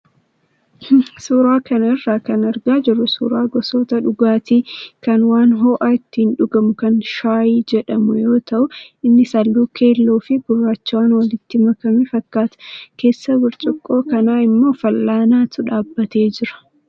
Suuraa kana irraa kan argaa jirru suuraa gosoota dhugaatii kan waan ho'aa ittiin dhugamu kan shaayii jedhamu yoo ta'u innis halluu keelloo fi gurraacha waan walitti makame fakkaata. Keessa burcuqqoo kanaa immoo fal'aanatu dhaabbatee jira.